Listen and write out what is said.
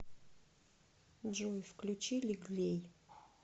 джой включи лиглей